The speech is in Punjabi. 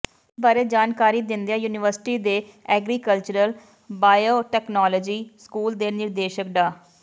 ਇਸ ਬਾਰੇ ਜਾਣਕਾਰੀ ਦਿੰਦਿਆਂ ਯੂਨੀਵਰਸਿਟੀ ਦੇ ਐਗਰੀਕਲਚਰ ਬਾਇਓਤਕਨਾਲੌਜੀ ਸਕੂਲ ਦੇ ਨਿਰਦੇਸ਼ਕ ਡਾ